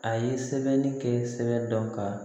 A ye sɛbɛnni kɛ sɛbɛn dɔn ka